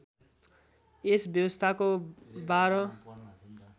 यस व्यवस्थाको १२